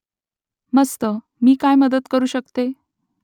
मस्त मी काय मदत करू शकतो ?